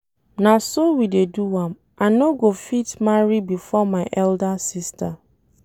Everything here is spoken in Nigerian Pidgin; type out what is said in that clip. Na so we dey do am, I no go fit marry before my elder sister